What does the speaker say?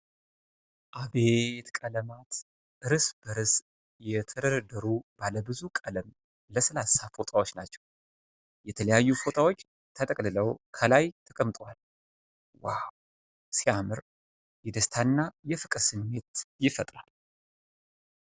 አቤት ቀለማት! እርስ በርስ የተደረደሩ ባለብዙ ቀለም ለስላሳ ፎጣዎች ናቸው ። የተለያዩ ፎጣዎች ተጠቅልለው ከላይ ተቀምጠዋል ። ዋው ሲያምር ! የደስታና የፍቅር ስሜት ይፈጥራል።